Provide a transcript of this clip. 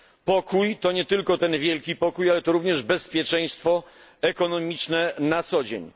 Pokój to nie tylko ten wielki pokój, ale również bezpieczeństwo ekonomiczne na co dzień.